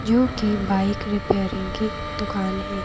जो कि bike repairing की दुकान है।